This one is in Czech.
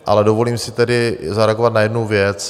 Ale dovolím si tedy zareagovat na jednu věc.